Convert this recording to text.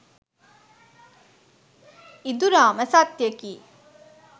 ඉඳුරා ම සත්‍යයකි.